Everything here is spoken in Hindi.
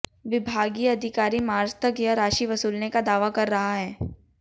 विभागीय अधिकारी मार्च तक यह राशि वसूलने का दावा कर रहा है